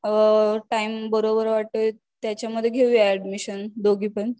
time बरोबर वाटेल त्याच्यामध्ये घेऊया अॅडमिशन दोघी पण